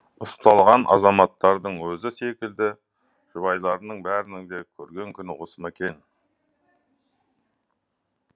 ұсталған азаматтардың өзі секілді жұбайларының бәрінің де көрген күні осы ма